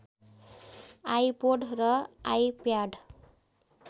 iPod र iPad